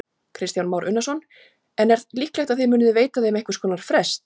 Kristján Már Unnarsson: En er líklegt að þið munið veita þeim einhvers konar frest?